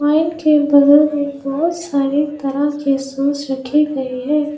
Wine के बगल में बहुत सारे तरह के सॉस रखे गए है।